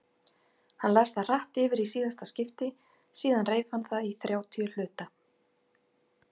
Hann las það hratt yfir í síðasta skipti, síðan reif hann það í þrjátíu hluta.